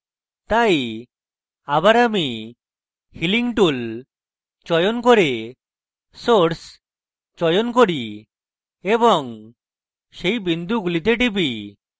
তাই আবার আমি healing tool চয়ন করে source চয়ন করি এবং সেই বিন্দুগুলিতে টিপি